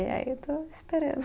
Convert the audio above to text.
Aí eu estou esperando.